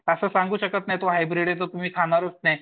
असं सांगू शकत नाहीये ते हाईब्रेड आहे तर तुम्ही खाणारच नाहीये.